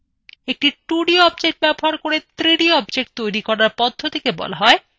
একটি 2d object ব্যবহার করে 3d object তৈরী করার পদ্ধতিকে বলে এক্ষট্রউশন